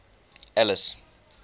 alice